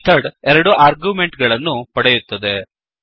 ಈ ಮೆಥಡ್ ಎರಡು ಆರ್ಗ್ಯುಮೆಂಟ್ ಗಳನ್ನು ಪಡೆಯುತ್ತದೆ